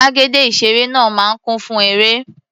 Gbàgede ìṣeré náà máa ń kún fún eré.